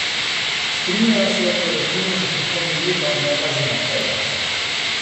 Strinjajo se o proračunu za prihodnje leto, ne pa za naprej.